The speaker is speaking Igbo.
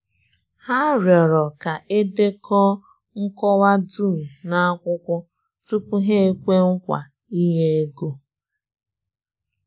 Hà rịọrọ ka e dekọọ nkọwa dum n’akwụkwọ tupu hà ekwe nkwa ị̀nye ego.